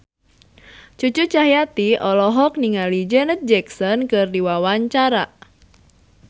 Cucu Cahyati olohok ningali Janet Jackson keur diwawancara